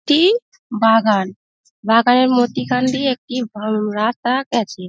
টি একটি বাগান বাগানের মধ্যিখানে দিয়ে একটি উম রাস্তা গেছে।